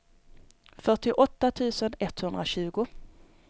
fyrtioåtta tusen etthundratjugo